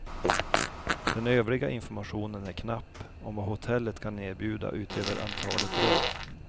Den övriga informationen är knapp om vad hotellet kan erbjuda utöver antalet rum.